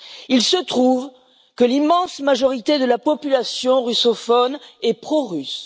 Il se trouve que l'immense majorité de la population russophone est prorusse.